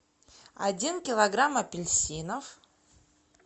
один килограмм апельсинов